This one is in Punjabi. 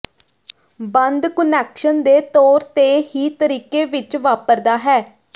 ਬੰਦ ਕੁਨੈਕਸ਼ਨ ਦੇ ਤੌਰ ਤੇ ਹੀ ਤਰੀਕੇ ਵਿੱਚ ਵਾਪਰਦਾ ਹੈ